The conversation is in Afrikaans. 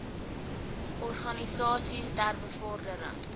organisasies ter bevordering